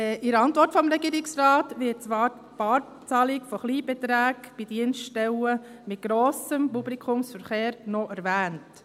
In der Antwort des Regierungsrates wird zwar die Barzahlung von Kleinbeträgen bei Dienststellen mit grossem Publikumsverkehr noch erwähnt.